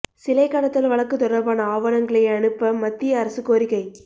சிலை கடத்தல் வழக்கு தொடர்பான ஆவணங்களை அனுப்ப மத்திய அரசு கோரிக்கை